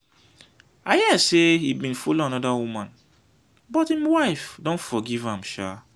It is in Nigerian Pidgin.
i hear say he bin follow another woman but him wife don forgive am shaa.